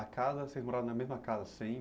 A casa, vocês moravam na mesma casa